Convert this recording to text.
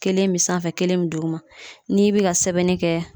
Kelen be sanfɛ kelen be duguma n'i bi ka sɛbɛnni kɛ